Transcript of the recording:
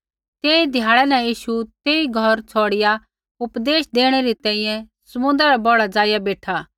तेही ध्याड़ै न यीशु तेई घौर छ़ौड़िआ उपदेश देणै री तैंईंयैं समुन्द्रा रै बौढ़ा ज़ाइआ बेठा